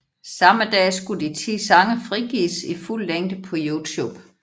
Samme dag skulle de ti sange frigives i fuld længe på YouTube